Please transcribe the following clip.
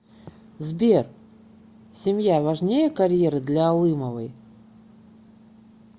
сбер семья важнее карьеры для алымовой